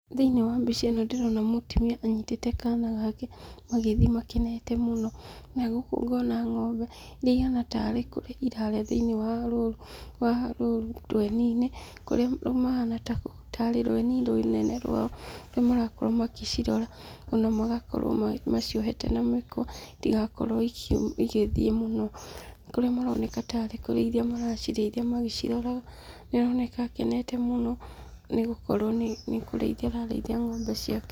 Thĩiniĩ wa mbica ĩno ndĩrona mũtumia anyitĩte kaana gake magĩthiĩ makenete mũno, na gũkũ ngona ng'ombe, iria ihana tarĩ kũrĩa irarĩa thĩiniĩ wa rũru wa rũru rweni-inĩ kũrĩa mahana ta rĩ rweni rũnene rwao, kũrĩa marakorwo magĩcirora, ona magakorwo maciohete na mĩkwa, itigakorwo igĩthiĩ mũno, kũrĩa maroneka tarĩ gũcirĩithia maracirĩithia magĩciroraga, nĩ aroneka akenete mũno, nĩgũkorwo nĩ kũrĩithia ararĩithia ng'ombe ciake.